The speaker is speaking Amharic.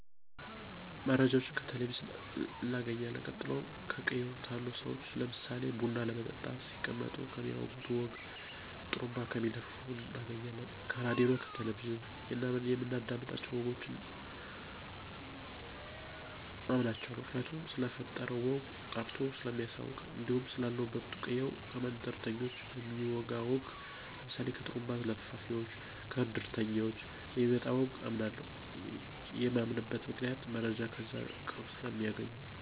መረጃወችን ከቴሌቨዥን እናገኝለን ቀጥሎም ከቅየው ታሉ ሰዎች ለምሳሌ ቡና ለመጠጣት ሲቀመጡ ከሚያወጉት ወግ ከጡሩንባ ከሚለፍፉት እናገኛለን። ከራድዮ እና ከቴሌቨዥን የምናዳምጣቸው ወጎችን አምናቸዋለሁ ምክንያቱም ስለተፈጠረው ወግ አጣርቶ ሰለሚያሳውቀን። እንዲሁም ስላለሁበት ቅየው ከመንደርተኞች በሚወጋ ወግ ለምሳሌ ከጥሩንባ ለፋፉወች፣ ከድርተኞች ከሚመጣ ወግ አምናለሁ። የማምንበት ምክንያት መረጃው ከዛው ከቅርብ ሰለሚያገኙ።